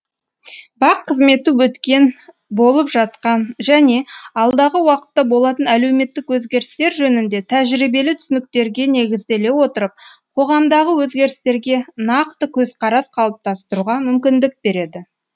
бақ қызметі өткен болып жатқан және алдағы уақытта болатын әлеуметтік өзгерістер жөнінде тәжірибелі түсініктерге негізделе отырып қоғамдағы өзгерістерге нақты көзқарас қалыптастыруға мүмкіндік береді